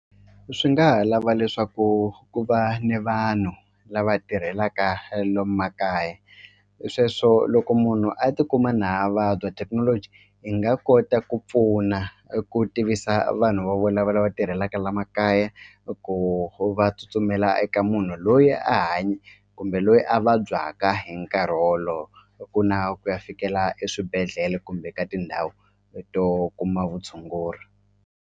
Swi nga ha lava leswaku ku va ni vanhu lava tirhelaka lomu makaya sweswo loko munhu a tikuma na vabya thekinoloji hi nga kota ku pfuna eku tivisa vanhu vo lava tirhelaka la makaya eku va tsutsumela eka munhu loyi a kumbe loyi a vabyaka hi nkarhi wolowo ku na ku ya fikela eswibedhlele kumbe ka tindhawu leto kuma vutshunguri.